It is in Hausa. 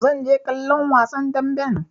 Zan je kallon wasan damben.